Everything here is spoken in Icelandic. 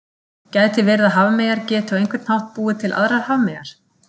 Gæti verið að hafmeyjar geti á einhvern hátt búið til aðrar hafmeyjar?